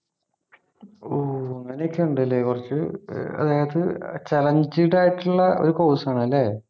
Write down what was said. ഓ അങ്ങനെയൊക്കെ ഉണ്ടല്ലേ കുറച്ച് ഏർ അത് challenging ആയിട്ടുള്ള ഒരു course ആണ് അല്ലേ